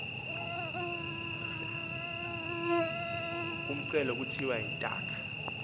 umcelu kuthiwa yintaka